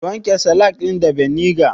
Ki wanke salak ɗin da beniga